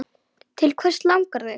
Til hvers langar þig?